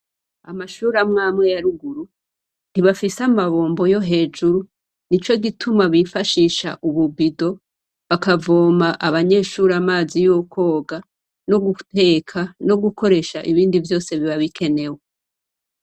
Amashure amwamwe ya ruguru ntibafise amabombo yo hejuru nico gituma bifashisha ububido bakavoma abanyeshure amazi yo kwoga, no guteka ; no gukoresha ibindi vyose biba bikenewe.